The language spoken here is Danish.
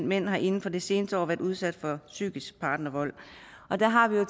mænd har inden for det seneste år været udsat for psykisk partnervold der har vi jo